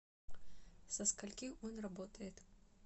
со скольки он работает